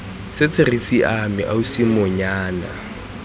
setse re siame ausi monyana